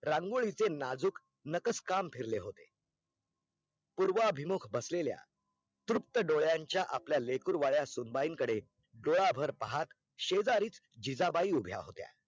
रंगोळीचे नाजुक नक्स काम फिरले होते पुर्व अभिमुख बसलेल्या तृप्त डोळ्यांचा आपल्या लेकरू वाल्या सुनबाईन कडे डोळा भर पाहात शेजारीच जिजबाई उभ्या होत्या